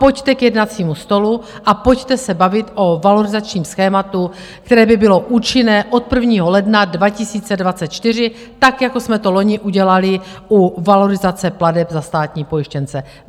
Pojďte k jednacímu stolu a pojďte se bavit o valorizačním schématu, které by bylo účinné od 1. ledna 2024, tak jako jsme to loni udělali u valorizace plateb za státní pojištěnce.